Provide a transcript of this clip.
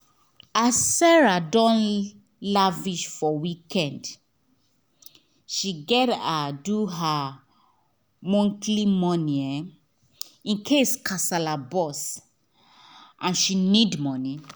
as sarah don lavish for weekend she gat re do her monthly money um incase kasala burst and she need money